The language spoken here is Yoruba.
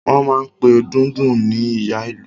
Wọ́n máa n pe Dundun ní Ìyá Ìlú